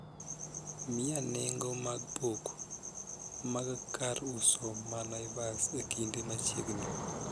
Mia nengo mar pok mag kar uso ma naivas e kinde machiegni